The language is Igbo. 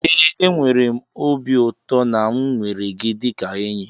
ee, enwere m obi ụtọ na m nwere gị dịka enyi